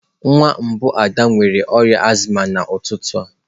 Nwa mbụ Ada nwere ọrịa azma n'ụtụtụ a.